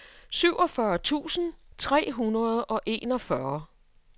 syvogfyrre tusind tre hundrede og enogfyrre